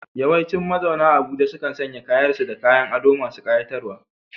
Yawancin mazauna Abuja sukan sanya kayan su da kayan ado masu ƙayatarwa.